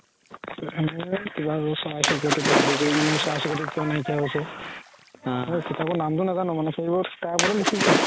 কিবা আৰু চৰাই চিৰিকতিৰ পৰা আদি কৰি মানে চৰাই চিৰিকতি কিয় নাই কিয়া হৈছে কিতাপৰ নামতো নাজানো মানে তাৰ ওপৰতে লিখিছে